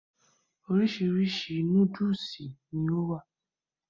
Orísirísi núdùùsì ni o wa.